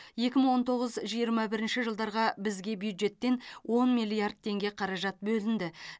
екі мың он тоғыз жиырма бірінші жылдарға бізге бюджеттен он миллиард теңге қаражат бөлінді